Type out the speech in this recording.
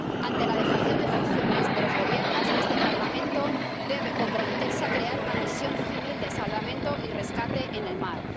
Ante la dejación de funciones de los Gobiernos, este Parlamento debe comprometerse a crear una misión civil de salvamento y rescate en el mar.